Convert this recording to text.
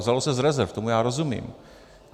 Vzalo se z rezerv, tomu já rozumím.